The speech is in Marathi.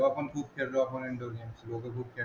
तेव्हापण खूप फिरलो आपण